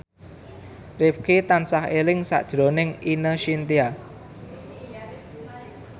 Rifqi tansah eling sakjroning Ine Shintya